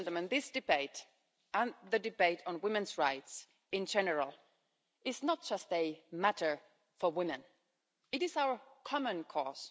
This debate and the debate on women's rights in general is not just a matter for women, it is our common cause.